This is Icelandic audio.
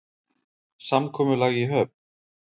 Samkomulag í höfn?